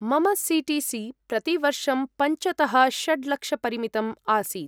मम C T C प्रतिवर्षं पञ्चतः षड्लक्षपरिमितम् आसीत्।